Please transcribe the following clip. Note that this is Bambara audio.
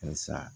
Halisa